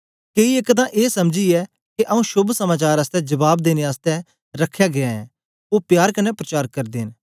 केई एक तां ए समझीयै के आऊँ शोभ समाचार आसतै जबाब देने आसतै रखया गीया ऐं ओ प्यार कन्ने प्रचार करदे न